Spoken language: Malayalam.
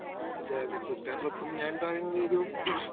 സ്പീക്കർ 1 അതെ അതെ. കൂട്ടുകാരോടൊപ്പം ഞാൻ പറയുന്നത് ഒരു